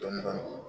Dɔni dɔni